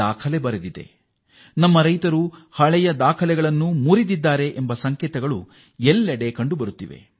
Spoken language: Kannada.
ಎಲ್ಲ ಸಂಕೇತಗಳೂ ನಮ್ಮ ರೈತರು ಹಿಂದಿನ ದಾಖಲೆಗಳನ್ನು ಮುರಿದಿದ್ದಾರೆ ಎಂಬುದನ್ನು ತೋರಿಸುತ್ತವೆ